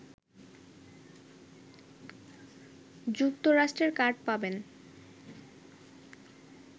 যুক্তরাষ্ট্রের কার্ড পাবেন